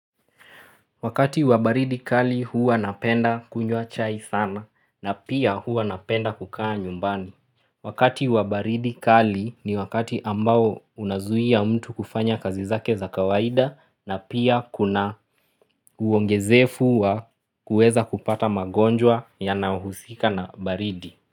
Wakati wa baridi kali huwa napenda kunywa chai sana na pia huwa napenda kukaa nyumbani. Wakati wa baridi kali ni wakati ambao unazuia mtu kufanya kazi zake za kawaida na pia kuna uongezefu wa kuweza kupata magonjwa yanayo huhusika na baridi.